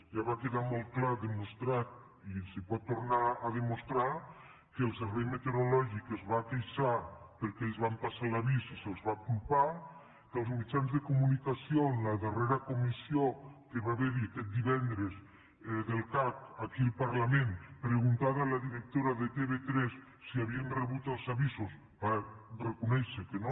ja va quedar molt clar demostrat i es pot tornar a demostrar que el servei meteorològic es va queixar perquè els van passar l’avís i se’ls va culpar que els mitjans de comunicació en la darrera comissió que hi va haver aquest divendres del cac aquí al parlament preguntada la directora de tv3 si havien rebut els avisos van reconèixer que no